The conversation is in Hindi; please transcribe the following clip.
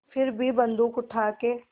फिर भी बन्दूक उठाके